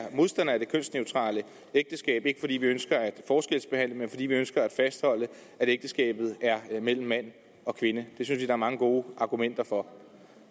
modstandere af det kønsneutrale ægteskab ikke fordi vi ønsker at forskelsbehandle men fordi vi ønsker at fastholde at ægteskabet er mellem mand og kvinde det synes er mange gode argumenter for